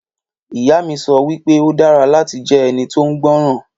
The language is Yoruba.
Ìyá mi sọ wípé o dára láti jẹ́ ẹni tóun gbọ́ràn